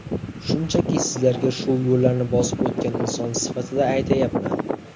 Shunchaki, sizlarga shu yo‘llarni bosib o‘tgan inson sifatida aytyapman.